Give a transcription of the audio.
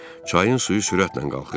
Çayın suyu sürətlə qalxırdı.